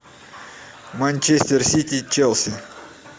манчестер сити челси